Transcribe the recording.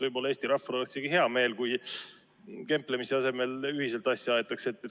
Võib-olla Eesti rahval oleks isegi hea meel, kui kemplemise asemel ühiselt asja aetakse.